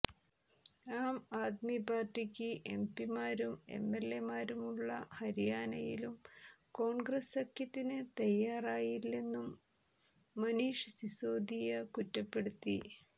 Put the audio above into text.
ആം ആദ്മി പാര്ട്ടിക്ക് എംപി മാരും എംഎല്എമാരുമുള്ള ഹരിയാനയിലും കോണ്ഗ്രസ് സഖ്യത്തിന് തയാറായില്ലെന്നും മനീഷ് സിസോദിയ കുറ്റപ്പെടുത്തി